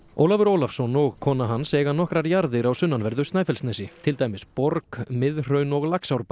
Ólafur Ólafsson og kona hans eiga nokkrar jarðir á sunnanverðu Snæfellsnesi til dæmis borg Miðhraun og